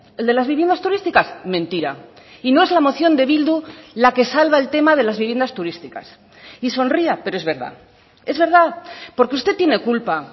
el de las viviendas turísticas mentira y no es la moción de bildu la que salva el tema de las viviendas turísticas y sonría pero es verdad es verdad porque usted tiene culpa